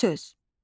Sehirli söz.